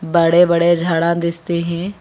बड़े बड़े झाड़ा दिखते हैं।